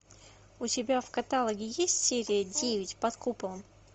у тебя в каталоге есть серия девять под куполом